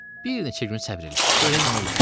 Bir neçə gün səbr elə, görək nə olur.